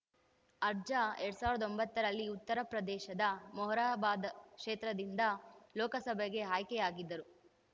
ಅರ್ಜಾ ಎರಡ್ ಸಾವಿರದ ಒಂಬತ್ತರಲ್ಲಿ ಉತ್ತರ ಪ್ರದೇಶದ ಮೊರಾದಾಬಾದ್‌ ಕ್ಷೇತ್ರದಿಂದ ಲೋಕಸಭೆಗೆ ಆಯ್ಕೆಯಾಗಿದ್ದರು